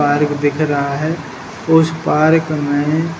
park दिख रहा है उस पार्क मे --